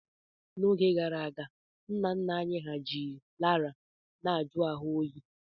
N'oge gara aga, nna nna anyị hà ji laraa na-ajụ ahu ha oyi.